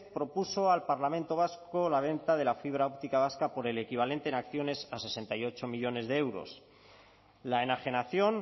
propuso al parlamento vasco la venta de la fibra óptica vasca por el equivalente en acciones a sesenta y ocho millónes de euros la enajenación